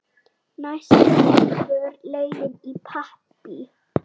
Næst liggur leiðin í Papey.